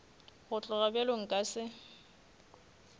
go tloga bjalo nka se